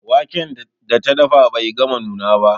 Waken da ta dafa bai gama nuna ba.